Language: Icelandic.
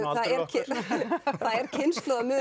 það er